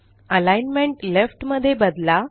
alignment left मध्ये बदला